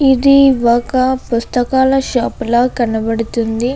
ఇది ఒక పుస్తకాల షాపుల కనబడుతోంది.